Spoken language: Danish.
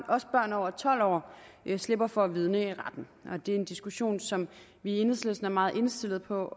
også børn over tolv år slipper for at vidne i retten det er en diskussion som vi i enhedslisten er meget indstillet på